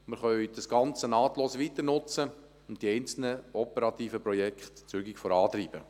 Wir können das Ganze nahtlos weiternutzen und die einzelnen operativen Projekte zügig vorantreiben.